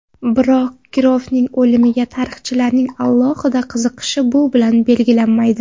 Biroq Kirovning o‘limiga tarixchilarning alohida qiziqishi bu bilan belgilanmaydi.